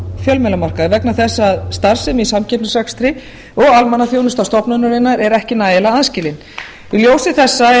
fjölmiðlamarkaði vegna þess að starfsemi í samkeppnisrekstri og almannaþjónusta stofnunarinnar er ekki nægilega aðskilin í ljósi þessa er